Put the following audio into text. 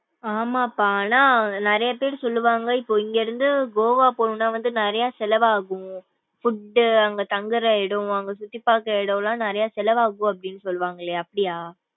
ஆமாப்பா ஆனா நிறைய பேரு சொல்லுவாங்க இப்போ இங்க இருந்து கோவா போனும்னா நிறையா செலவு ஆகும் food அங்க தங்குற இடம் அங்க சுத்தி பாக்குற இடம்லாம் நிறையா செலவு ஆகும் சொல்லுவாங்களே அப்படியா?